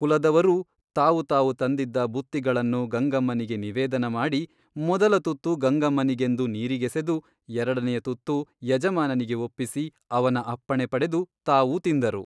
ಕುಲದವರೂ ತಾವು ತಾವು ತಂದಿದ್ದ ಬುತ್ತಿಗಳನ್ನು ಗಂಗಮ್ಮನಿಗೆ ನಿವೇದನ ಮಾಡಿ ಮೊದಲ ತುತ್ತು ಗಂಗಮ್ಮನಿಗೆಂದು ನೀರಿಗೆಸೆದು ಎರಡನೆಯ ತುತ್ತು ಯಜಮಾನನಿಗೆ ಒಪ್ಪಿಸಿ ಅವನ ಅಪ್ಪಣೆ ಪಡೆದು ತಾವೂ ತಿಂದರು.